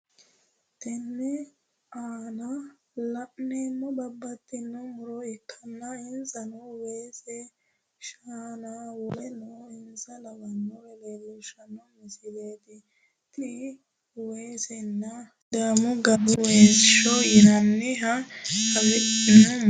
Tene aanna la'neemohu babbaxitino muro ikkanna insano weese, shaannanna woleno insa lawanore leelishano misileeti tinni weeseno sidaamaho gara sagale waasaho yinnanniha afi'neemo murooti.